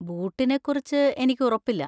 ബൂട്ടിനെക്കുറിച്ച് എനിക്ക് ഉറപ്പില്ല.